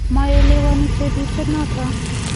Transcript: maelewani tebutiet notok